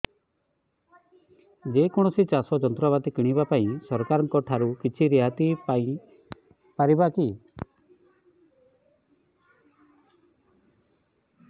ଯେ କୌଣସି ଚାଷ ଯନ୍ତ୍ରପାତି କିଣିବା ପାଇଁ ସରକାରଙ୍କ ଠାରୁ କିଛି ରିହାତି ପାଇ ପାରିବା କି